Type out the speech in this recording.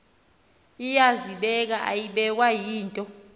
iyazibeka ayibekwa yinto